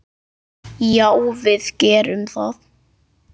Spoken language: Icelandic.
Já, við gerum það.